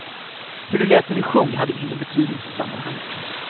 Hur det lät när vi sjöng hade ingen betydelse i sammanhanget.